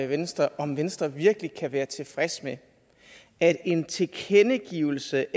venstre om venstre virkelig kan være tilfreds med at en tilkendegivelse